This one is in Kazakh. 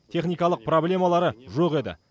техникалық проблемары жоқ еді